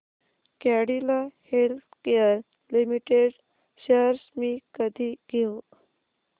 Cadila healthcare limited shares मी कधी घेऊ